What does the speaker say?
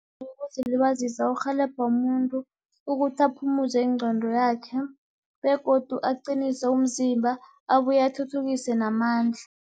Ukuzilibazisa kurhelebha umuntu, ukuthi aphumuze ingqondo yakhe begodu aqinise umzimba, abuye athuthukise namandla.